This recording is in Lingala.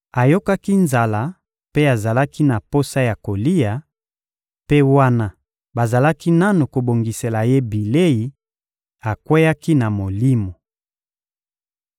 Ayokaki nzala mpe azalaki na posa ya kolia, mpe wana bazalaki nanu kobongisela ye bilei, akweyaki na Molimo.